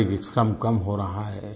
शरीरिक श्रम कम हो रहा है